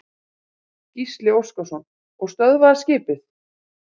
Gísli Óskarsson: Og stöðvaðist skipið?